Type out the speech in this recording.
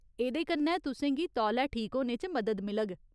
एह्दे कन्नै तुसें गी तौले ठीक होने च मदद मिलग।